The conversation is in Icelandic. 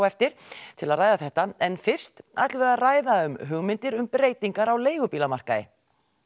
eftir til að ræða þetta en fyrst ætlum við að ræða um hugmyndir um breytingar á leigubílamarkaði